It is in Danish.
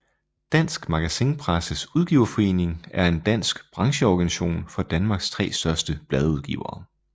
Dansk Magasinpresses Udgiverforening er en dansk brancheorganisation for Danmarks tre største bladudgivere